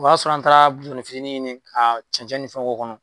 O y'a sɔrɔ an taara bidɔnnifitini ɲini ka cɛncɛn ni fɛnw k'o kɔnɔ